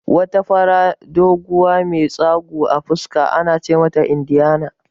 Wata fara, doguwa mai tsagu a fuska ana ce mata Indiyana